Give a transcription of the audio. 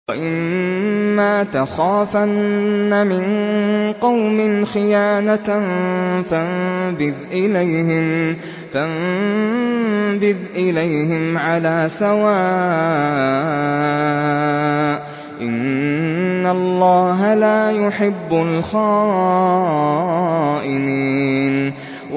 وَإِمَّا تَخَافَنَّ مِن قَوْمٍ خِيَانَةً فَانبِذْ إِلَيْهِمْ عَلَىٰ سَوَاءٍ ۚ إِنَّ اللَّهَ لَا يُحِبُّ الْخَائِنِينَ